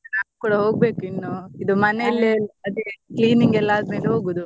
ನಾನ್ ಕೂಡ ಹೋಗ್ಬೇಕು ಇನ್ನು ಇದು ಮನೇಲೆಲ್ಲಾ cleaning ಎಲ್ಲ ಆದ್ಮೇಲೆ ಹೋಗುದು.